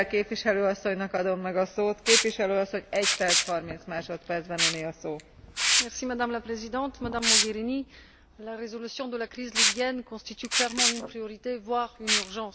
Madame la Présidente, Madame Mogherini, la résolution de la crise libyenne constitue clairement une priorité, voire une urgence, parce que nous sommes tous directement concernés et c'est pourquoi il nous faut une stratégie à la hauteur des enjeux.